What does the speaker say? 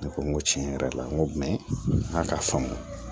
Ne ko n ko tiɲɛ yɛrɛ la n ko jumɛn ka faamu